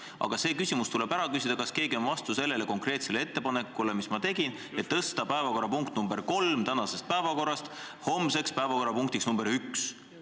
Aga see küsimus tuleb ära küsida: kas keegi on vastu konkreetsele ettepanekule, mille ma tegin, et tõsta päevakorrapunkt nr 3 tänasest päevakorrast homsesse päevakorda punktiks nr 1?